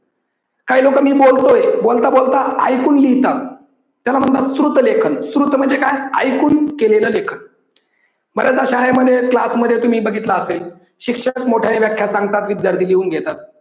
काही लोक मी बोलतोय बोलता बोलता ऐकून लिहितात, त्याला म्हणतात श्रुत लेखन. श्रुत म्हणजे काय ऐकून केलेलं लेखन. बरेच दा शाळेमध्ये class मध्ये तुम्ही बघितलं असेल शिक्षकच मोठ्याने सांगतात विद्यार्थी लिहून घेतात